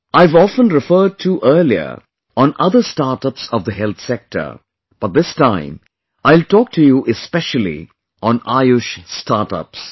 I have often referred to earlier on other startups of the health sector, but this time I will talk to you especially on Ayush StartUps